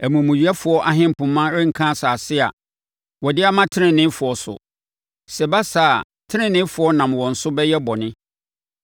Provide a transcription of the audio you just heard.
Amumuyɛfoɔ ahempoma renka asase a wɔde ama teneneefoɔ so. Sɛ ɛba saa a, teneneefoɔ nam wɔn so bɛyɛ bɔne.